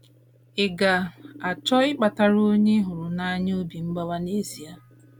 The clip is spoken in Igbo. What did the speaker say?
Ị̀ ga - achọ ịkpatara onye ị hụrụ n’anya obi mgbawa n’ezie?